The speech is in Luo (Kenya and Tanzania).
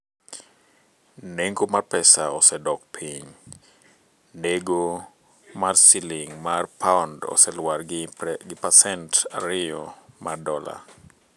Nengo mar pesa osedok piny, Nego mar siling' mar pound oseluar gi pasent ariyo mar dola